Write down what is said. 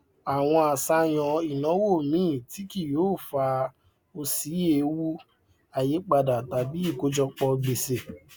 wo àwọn àṣàyàn ináwó míì tí kì yóò fa ọ sí ewu àìyípádà tàbí ikojọpọ gbèsè